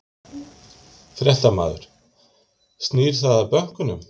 Fréttamaður: Snýr það að bönkunum?